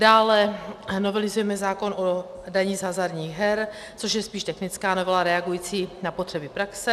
Dále novelizujeme zákon o dani z hazardních her, což je spíš technická novela reagující na potřeby praxe.